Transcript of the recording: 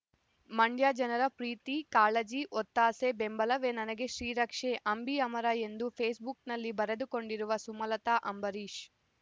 ಮಂಡ್ಯ ಜನರ ಪ್ರೀತಿ ಕಾಳಜಿ ಒತ್ತಾಸೆ ಬೆಂಬಲವೇ ನನಗೆ ಶ್ರೀರಕ್ಷೆ ಅಂಬಿ ಅಮರ ಎಂದು ಫೇಸ್ ಬುಕ್‌ನಲ್ಲಿ ಬರೆದುಕೊಂಡಿರುವ ಸುಮಲತ ಅಂಬರೀಷ್